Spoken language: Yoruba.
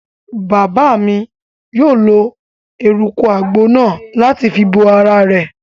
Bàbá mi yóò lo eruku àgbo náà láti fi bo ara rẹ̀